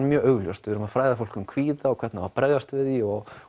mjög augljóst við erum að fræða fólk um kvíða og hvernig á að bregðast við því og